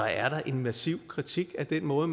er en massiv kritik af den måde